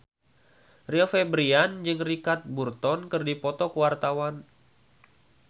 Rio Febrian jeung Richard Burton keur dipoto ku wartawan